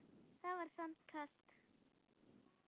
Það var samt kalt